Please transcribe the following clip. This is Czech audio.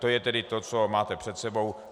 To je tedy to, co máte před sebou.